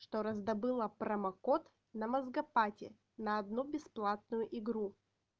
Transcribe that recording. что раздобыла промокод на мозгопати на одну бесплатную игру